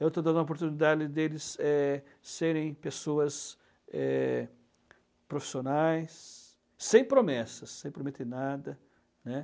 Eu estou dando a oportunidade de eles, eh, serem pessoas, eh, profissionais, sem promessas, sem prometer nada, né?